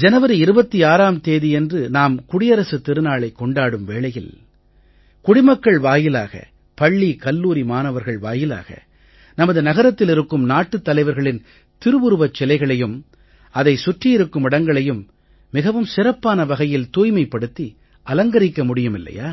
ஜனவரி 26ம் தேதியன்று நாம் குடியரசுத் திருநாளைக் கொண்டாடும் வேளையில் குடிமக்கள் வாயிலாக பள்ளிகல்லூரி மாணவர்கள் வாயிலாக நமது நகரத்தில் இருக்கும் நாட்டுத் தலைவர்களின் திருவுருவச் சிலைகளையும் அதைச் சுற்றியிருக்கும் இடங்களையும் மிகவும் சிறப்பான வகையில் தூய்மைப்படுத்தி அலங்கரிக்க முடியுமில்லையா